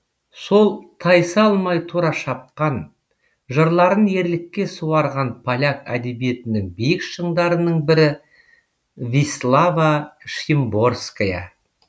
сол тайсалмай тура шапқан жырларын ерлікке суарған поляк әдебиетінің биік шыңдарының бірі вислава шимборская